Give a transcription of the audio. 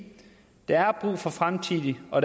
der er brug for fremtidige og